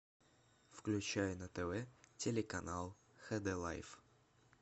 включай на тв телеканал хд лайф